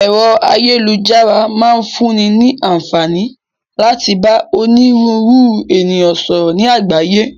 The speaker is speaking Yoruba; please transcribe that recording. Ẹ̀rọ ayélujára máa ń fún ní ní àǹfààní láti bá òníru ńru ènìyàn sọ̀rọ̀ ni àgbáyé.